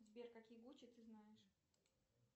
сбер какие гучи ты знаешь